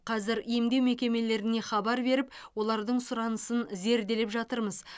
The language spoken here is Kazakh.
қазір емдеу мекемелеріне хабар беріп олардың сұранысын зерделеп жатырмыз